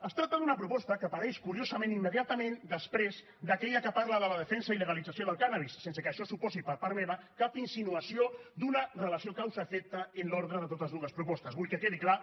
es tracta d’una proposta que apareix curiosament immediatament després d’aquella que parla de la defensa i legalització del cànnabis sense que això suposi per part meva cap insinuació d’una relació causa efecte en l’ordre de totes dues propostes vull que quedi clar